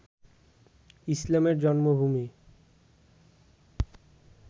ইসলামের জন্মভূমি